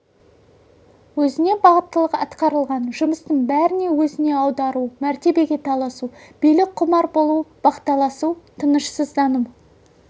өзіне бағыттылық атқарылған жұмыстың бәрін өзіне аудару мәртебеге таласу билік құмар болу бақталасу тынышсыздану